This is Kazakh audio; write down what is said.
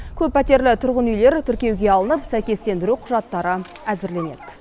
көппәтерлі тұрғын үйлер тіркеуге алынып сәйкестендіру құжаттары әзірленеді